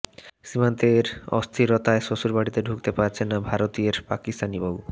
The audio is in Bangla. সীমান্তের অস্থিরতায় শ্বশুরবাড়িতে ঢুকতে পারছে না ভারতীয়ের পাকিস্তানি বউ